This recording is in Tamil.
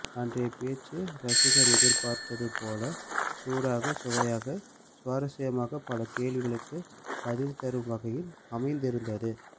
அன்றைய பேச்சு ரசிகர் எதிர்பார்த்தது போலவே சூடாக சுவையாக சுவராஸ்யமாக பல கேள்விகளுக்கு பதில்தரும் வகையில் அமைந்திருந்தது